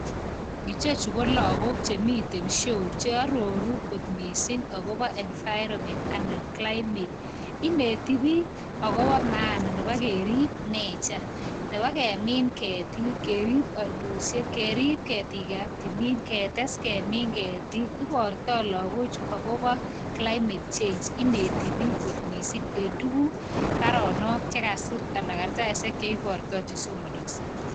Ichechu ko lagok chemiten show cheororu kot missing akobo environment anan climate ineti biik akobo maana nebo kerib nature nebo kemin ketik kerib oinosiek kerib ketik ab timin ketes kemin ketik ibortoo lagochu akobo climate change ineti biik kot missing en tuguk baronok chekasir ana kartasisiek cheibortoo chesomonokse